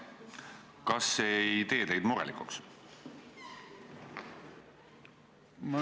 Kas see ei tee teid murelikuks?